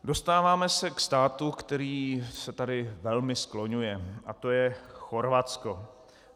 Dostáváme se k státu, který se tady velmi skloňuje, a to je Chorvatsko.